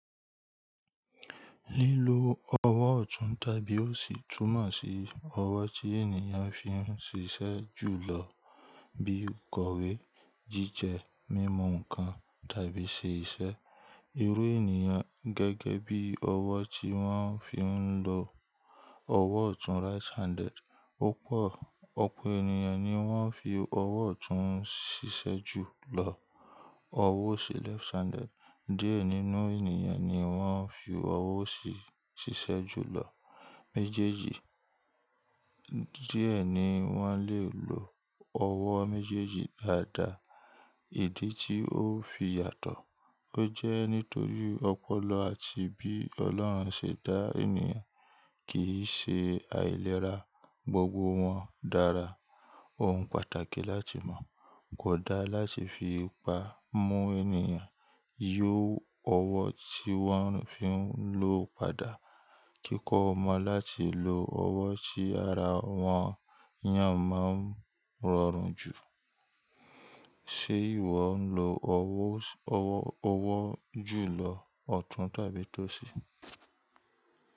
Lílo ọwọ́ ọ̀tún tàbí òsì túmọ̀ sí ọwọ́ tí ènìyàn fi ń ṣiṣẹ́ jùlọ bíi ìkọ̀wé, jíjẹ, mímu ǹǹkan tàbí ṣè iṣẹ́. Irú ènìyàn gẹ́gẹ́ bí ọwọ́ tí wọ́n fi ń lo. Ọwọ́ ọ̀tún right handed: Púpọ̀ ọ̀pọ̀ ènìyàn ni wọ́n fi ọwọ́ ọ̀tún ń ṣiṣẹ́ jùlọ. Ọwọ́ òsì left handed: Diẹ nínú ènìyàn ni wọ́n fi ọwọ́ òsì ṣiṣẹ́ jùlọ. Méjèèjì. Díẹ̀ ni wọ́n lè lo ọwọ́ méjèèjì dáadáa. Ìdí tí ó fi yàtọ̀, ó jẹ́ nítorí ọpọlọ àti bí Ọlọ́run ṣe dá ènìyàn kì í ṣe àìlera, gbogbo wọn dára. Ohun pàtàkì láti mọ̀, kò da láti fi ipa mú ènìyàn yí ọwọ́ tí wọ́n fi ń lo padà. Kíkọ́ ọmọ láti lo ọwọ́ tí ara wọn yàn máa ń rọrùn jù. Ṣe ìwọ ń lo ọwọ́, ọwọ́, ọwọ́ jùlọ ọ̀tún tàbí tòsí?